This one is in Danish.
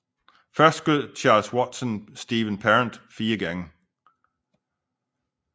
Først skød Charles Watson Steven Parent fire gange